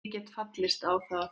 Ég gat fallist á það.